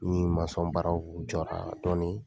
Ni baaraw jɔra dɔɔnii